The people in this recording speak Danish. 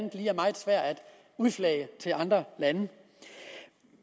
udflage til andre lande